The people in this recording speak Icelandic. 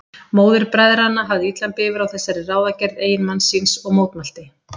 Móðir bræðranna hafði illan bifur á þessari ráðagerð eiginmanns síns og mótmælti.